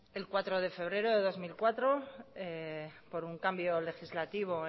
el cuatro de febrero de dos mil cuatro por un cambio legislativo